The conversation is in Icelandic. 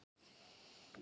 Hún var nemandi minn.